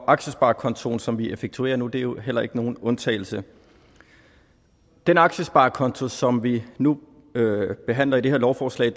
aktiesparekontoen som vi effektuerer nu er jo heller ikke nogen undtagelse den aktiesparekonto som vi nu behandler i det her lovforslag